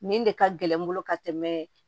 Nin de ka gɛlɛn n bolo ka tɛmɛ